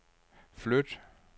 flyt